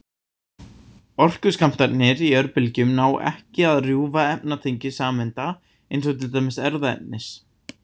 Orkuskammtarnir í örbylgjum ná ekki að rjúfa efnatengi sameinda, eins og til dæmis erfðaefnis.